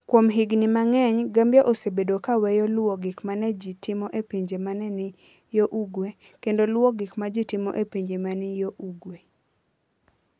Kuom higini mang'eny, Gambia osebedo ka weyo luwo gik ma ne ji timo e pinje ma ne ni yo ugwe, kendo luwo gik ma ji timo e pinje ma ne ni yo ugwe.